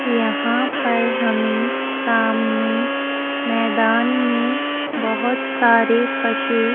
यहाँ पर हमें सामने मैदान में बहुत सारे पशु --